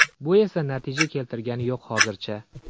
Bu esa natija keltirgani yo‘q hozircha.